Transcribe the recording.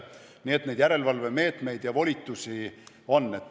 Nii et neid järelevalvemeetmeid ja volitusi on.